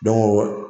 Don ko